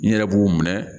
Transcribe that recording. N yɛrɛ b'u minɛ